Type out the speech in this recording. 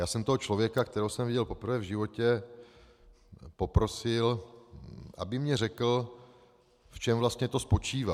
Já jsem toho člověka, kterého jsem viděl poprvé v životě, poprosil, aby mi řekl, v čem vlastně to spočívá.